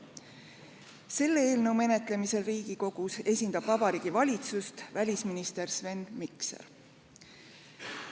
Selle eelnõu menetlemisel Riigikogus esindab Vabariigi Valitsust välisminister Sven Mikser.